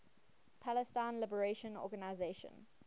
palestine liberation organization